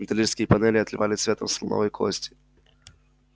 металлические панели отливали цветом слоновой кости